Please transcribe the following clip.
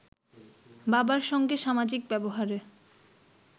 বাবার সঙ্গে সামাজিক ব্যবহারে